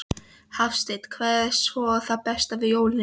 Hafsteinn: Hvað er svo það besta við jólin?